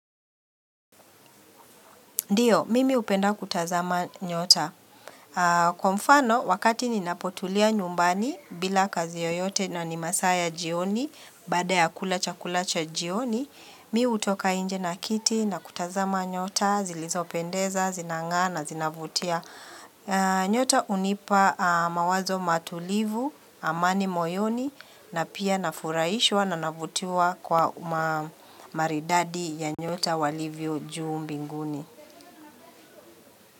Ndiyo, mimi hupenda kutazama nyota. Kwa mfano, wakati ninapotulia nyumbani, bila kazi yoyote na ni masaa jioni, baada ya kula chakulacha jioni, mimi utoka inje na kiti na kutazama nyota, zilizopendeza, zinang; aa na, zinavutia. Nyota hunipa mawazo matulivu, amani moyoni, na pia nafurahishwa na navutiwa kwa maridadi ya nyota walivyo juu mbinguni.